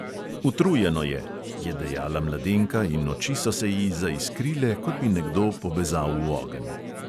"Utrujeno je," je dejala mladenka in oči so se ji zaiskrile, kot bi nekdo pobezal v ogenj.